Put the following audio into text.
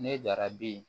Ne dara bi